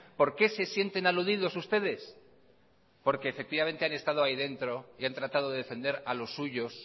por qué se sienten aludidos ustedes porque efectivamente han estado ahí dentro y han tratado de defender a los suyos